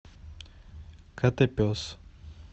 котопес